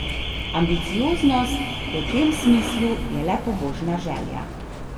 Ambicioznost v tem smislu je le pobožna želja.